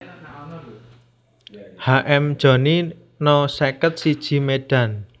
H M Jhoni No seket siji Medan